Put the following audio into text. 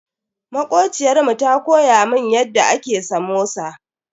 Makociyar mu ta koya mun yadda ake samosa.